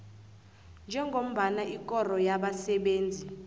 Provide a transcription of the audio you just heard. njengombana ikoro yabasebenzi